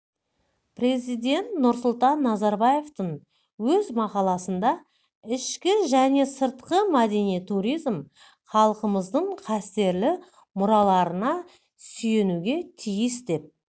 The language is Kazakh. президент нұрсұлтан назарбаевтың өз мақаласында ішкі және сыртқы мәдени туризм халқымыздың қастерлі мұраларына сүйенуге тиіс деп